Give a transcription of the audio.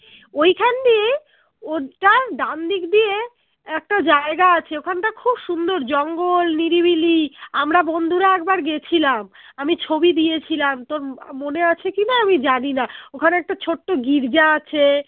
ঐখান দিয়ে ওটার ডানদিক দিয়ে একটা জায়গা আছে ওখান টা খুব সুন্দর জঙ্গল নিরিবিলি আমরা বন্ধুরা একবার গেছিলাম আমি ছবি দিয়েছিলাম তোর ম আহ মনে আছে কি না আমি জানিনা ওখানে একটা ছোট্ট গির্জা আছে